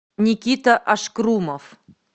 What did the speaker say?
никита ашкрумов